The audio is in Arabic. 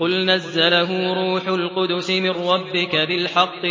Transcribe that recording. قُلْ نَزَّلَهُ رُوحُ الْقُدُسِ مِن رَّبِّكَ بِالْحَقِّ